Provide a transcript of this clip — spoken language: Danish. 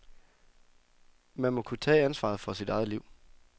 Man må kunne tage ansvaret for sit eget liv.